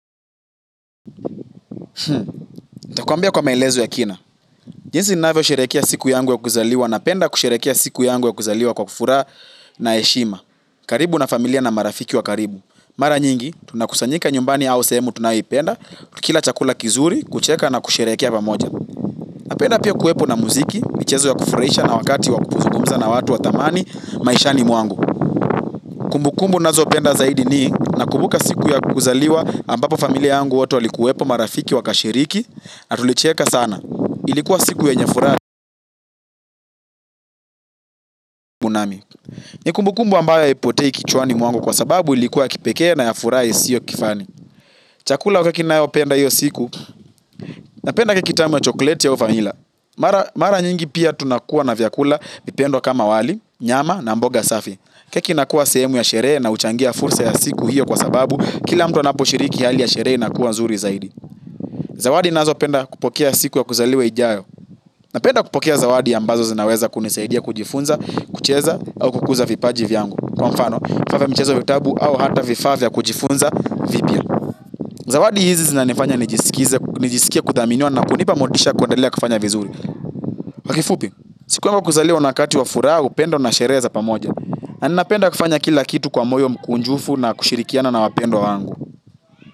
Nitakuambia kwa maelezo ya kina. Jinsi ninavyosherehekea siku yangu ya kuzaliwa, napenda kusherehekea siku yangu ya kuzaliwa kwa furaha na heshima. Karibu na familia na marafiki wa karibu. Mara nyingi, tunakusanyika nyumbani au sehemu tunayoipenda, tukila chakula kizuri, kucheka na kusherehekea pamoja. Napenda pio kuwepo na muziki, michezo ya kufurahisha na wakati wakuzugumza na watu wa thamani, maishani mwangu. Kumbukumbu nazo penda zaidi ni, namkubuka siku ya kuzaliwa ambapo familia yangu watu alikuwepo marafiki wakashiriki, na tulicheka sana ilikuwa. Siku yenye furaha. Ni kumbukumbu ambayo haipotei kichwani mwangu kwa sababu ilikuwa ya kipekee na ya furaha isiyo kifani. Chakula wakakina yo penda yo siku. Napenda keki tamu ya chokoleti au vanilla. Mara nyingi pia tunakuwa na vyakula kama wali, nyama na mboga safi. Keki inakuwa sehemu ya sherehe na huchangia fursa ya siku hiyo kwa sababu kila mtu anaposhiriki hali ya sherehe inakuwa nzuri zaidi. Zawadi nazopenda kupokea siku ya kuzaliwa ijayo. Napenda kupokea zawadi ambazo zinaweza kunisaidia kujifunza, kucheza au kukuza vipaji vyangu. Kwa mfano, kufanya mchezo vitabu au hata vifaa vya kujifunza vipya. Zawadi hizi zinanifanya nijisikie kuthaminiwa na kunipa motisha ya kuendelea kufanya vizuri. Kwa kifupi, siku yangu ya kuzaliwa ni wakati wa furaha, upendo na sherehe pamoja. Na ninapenda kufanya kila kitu kwa moyo mkunjufu na kushirikiana na wapendwa wangu.